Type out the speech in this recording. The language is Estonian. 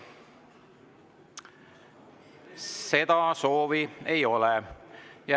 Seda soovi ei ole.